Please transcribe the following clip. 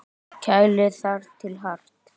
Kælið þar til hart.